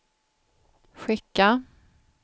skicka